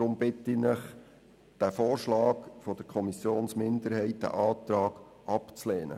Deshalb bitte ich Sie, den Antrag der Kommissionsminderheit abzulehnen.